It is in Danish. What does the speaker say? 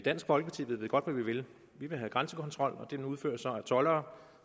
i dansk folkeparti ved vi godt hvad vi vil vi vil have grænsekontrol og den udføres af toldere